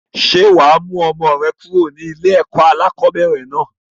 Ṣé wá mú ọmọ rẹ kúrò ní ilé ẹ̀kọ́ alakọ̀bẹ́ẹ́rẹ̀ náà?